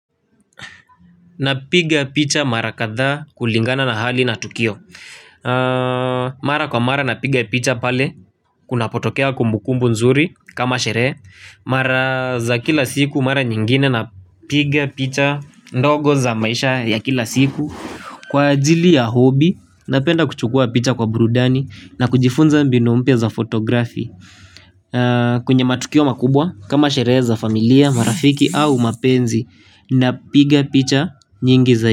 Napiga picha marakadhaa kulingana na hali na tukio. Mara kwa mara napiga picha pale. Kunapotokea kumbukumbu nzuri kama sherehe. Mara za kila siku mara nyingine napiga picha ndogo za maisha ya kila siku kwa ajili ya hobi. Napenda kuchukua picha kwa burudani na kujifunza mbinu mpya za fotografi. Kwenye matukio makubwa kama sherehe za familia marafiki au mapenzi napiga picha nyingi zaidi.